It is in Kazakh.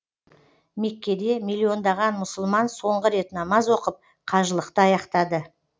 меккеде миллиондаған мұсылман соңғы рет намаз оқып қажылықты аяқтады